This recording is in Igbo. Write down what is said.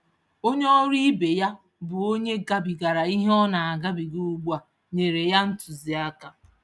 Onye ọrụ ibe ya, bụ onye gabigara ìhè ọ naagabiga ùgbúà, nyèrè ya ntụziaka